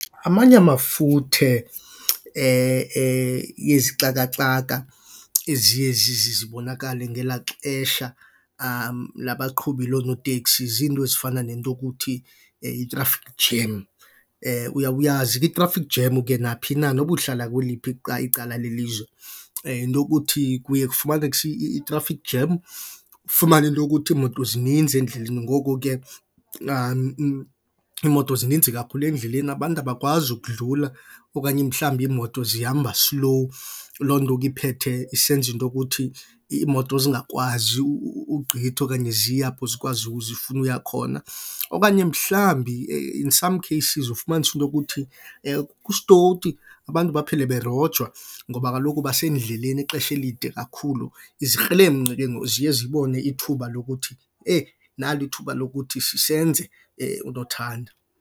Amanye amafuthe yezixaka-xaka eziye zibonakale ngelaa xesha labaqhubi lonoteksi ziinto ezifana nento okuthi i-traffic jam. Uyawuyazi ke i-traffic jam ke naphi na noba uhlala kweliphi icala lelizwe. Yinto yokuthi kuye kufumaneke i-traffic jam ufumane into yokuthi iimoto zininzi endleleni ngoko ke iimoto zininzi kakhulu endleleni abantu abakwazi ukudlula okanye mhlawumbi iimoto zihamba silowu. Loo nto ke iphethe isenza into yokuthi iimoto zingakwazi ugqitha okanye ziye apho zikwazi zifuna uya khona. Okanye mhlawumbi in some cases ufumanise into yokuthi kusitowuti abantu baphele berojwa ngoba kaloku basendleleni ixesha elide kakhulu, izikrelemnqa ke ngoku ziye zibone ithuba lokuthi eyi nali ithuba lokuthi senze unothanda.